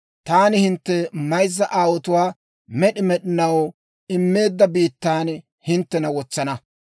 taani hintte mayzza aawaatoo med'i med'inaw immeedda biittan hinttena wotsana.